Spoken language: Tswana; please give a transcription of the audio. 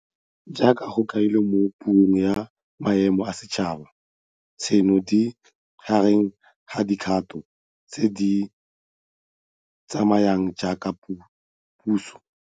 Jaaka go kailwe mo Puong ya Maemo a Setšhaba, tseno di gareng ga dikgato tse re di tsayang jaaka puso.